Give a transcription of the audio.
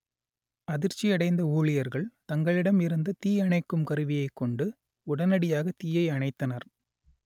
அதிர்ச்சி அடைந்த ஊழியர்கள் தங்களிடம் இருந்த தீ அணைக்கும் கருவியை கொண்டு உடனடியாக தீயை அணைத்தனர்